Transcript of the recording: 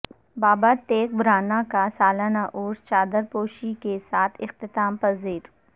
باباتیغ برہنہ کا سالانہ عرس چادرپوشی کے ساتھ اختتام پذیر